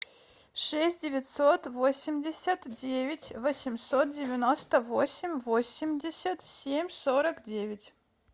шесть девятьсот восемьдесят девять восемьсот девяносто восемь восемьдесят семь сорок девять